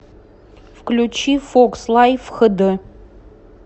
включи фокс лайф хд